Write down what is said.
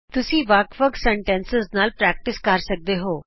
ਤੁਸੀਂ ਅੱਲਗ ਅੱਲਗ ਵਾਕਾਂ ਨਾਲ ਅਭਿਆਸ ਜਾਰੀ ਰੱਖ ਸਕਦੇ ਹੋ